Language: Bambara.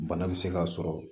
Bana bɛ se ka sɔrɔ